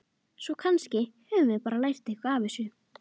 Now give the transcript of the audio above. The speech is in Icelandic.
Svo kannski höfum við bara lært eitthvað á þessu.